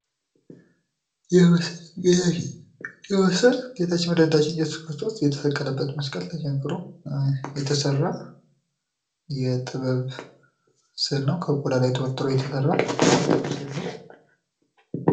ይህ ምስል ጌታችን መድሃኒታችን እየሱስ ክርስቶስ የተሰቀለበት መስቀል ተቸንክሮ የሚያሳይ የጥበብ ስእል ነው። ከቆዳ ላይ የተሰራ ስእል ነው።